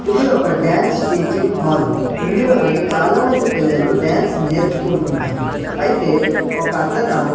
ఇది ఒక dance teaching hall ఇందులోనే చాలామంది పిల్లలు డాన్స్ నేర్చుకుంటున్నారు అయితే ఒకతనా.